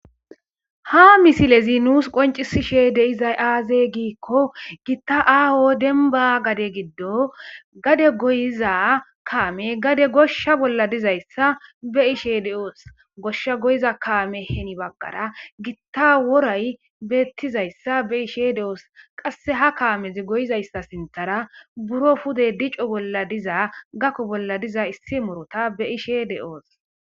Ha misile zi nuus qoncisishe deizay aaze giikko gitta aaho demba gade giddo gade goyiza kaame gade goshsha bolla dizayssa be ishe de7oos goshsha goyiza kaame heni baggara gitta woray beettizayssa be ishe de7oos qasse ha kaamezi goyizayssa sintara buro pude dico bolla diza gakko bolla diza issi morota be ishe de7oos.